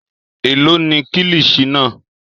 Èló ni kilichi náà?